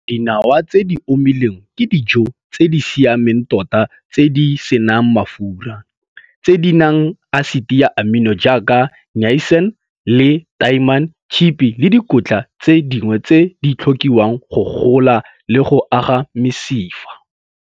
Dinawa tse di omileng ke dijo tse di siameng tota tse di se nang mafura, tse di nang asiti ya amino jaaka niasine le tiamine, tshipi le dikotla tse dingwe tse di tlhokiwang go gola le go aga mesifa.